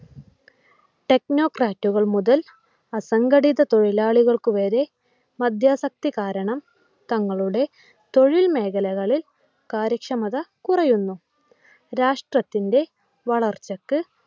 technocrate കൾ മുതൽ അസംഘടിത തൊഴിലാളികൾക്ക് വരെ മദ്യാസക്തി കാരണം തങ്ങളുടെ തൊഴിൽ മേഖലകളിൽ കാര്യക്ഷമത കുറയുന്നു. രാഷ്ട്രത്തിൻ്റെ വളർച്ചക്ക്